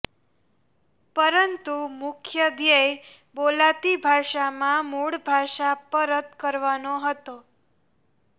પરંતુ મુખ્ય ધ્યેય બોલાતી ભાષા માં મૂળ ભાષા પરત કરવાનો હતો